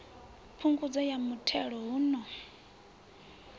phungudzo ya mithelo hun o